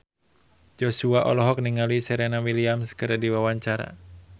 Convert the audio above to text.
Joshua olohok ningali Serena Williams keur diwawancara